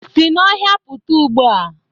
Si n'ọhịa pụta ugbu a